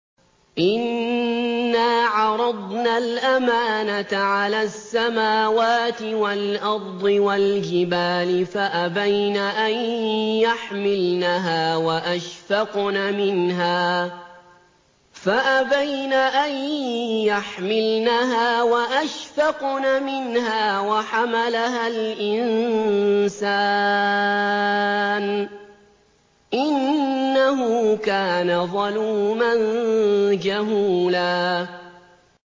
إِنَّا عَرَضْنَا الْأَمَانَةَ عَلَى السَّمَاوَاتِ وَالْأَرْضِ وَالْجِبَالِ فَأَبَيْنَ أَن يَحْمِلْنَهَا وَأَشْفَقْنَ مِنْهَا وَحَمَلَهَا الْإِنسَانُ ۖ إِنَّهُ كَانَ ظَلُومًا جَهُولًا